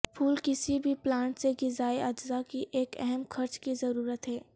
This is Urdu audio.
پھول کسی بھی پلانٹ سے غذائی اجزاء کی ایک اہم خرچ کی ضرورت ہے